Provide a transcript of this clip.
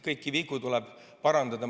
Kõiki vigu tuleb püüda parandada.